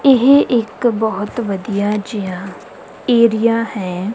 ਇਹ ਇੱਕ ਬਹੁਤ ਵਧੀਆ ਜਿਹਾ ਏਰੀਆ ਹੈ।